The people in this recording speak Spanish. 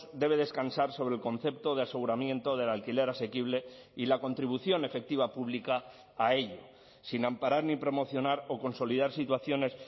debe descansar sobre el concepto de aseguramiento del alquiler asequible y la contribución efectiva pública a ello sin amparar ni promocionar o consolidar situaciones